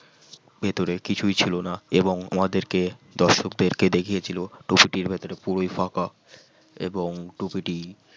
ভিতরে কিছু ছিল না এবং আমাদেরকে দর্শকদেরকে দেখিয়েছিল টুপিটির ভিতরে পুরোই ফাঁকা এবং টুপি টি